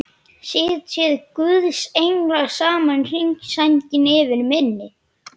Sitji guðs englar saman í hring, sænginni yfir minni.